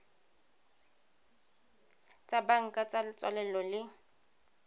tsa banka tsa tswalelo le